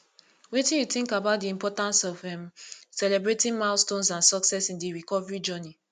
wetin you think about di importance of um celebrating milestones and successes in di recovery journey